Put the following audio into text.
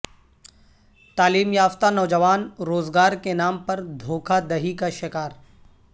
تعلیم یافتہ نوجوان روزگار کے نام پر دھوکہ دہی کا شکار